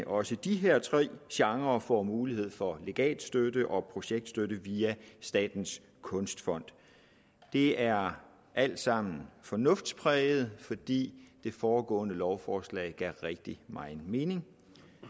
også de her tre genrer får mulighed for legatstøtte og projektstøtte via statens kunstfond det er alt sammen fornuftspræget fordi det foregående lovforslag gav rigtig meget mening